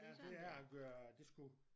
Ja det er at gøre det skulle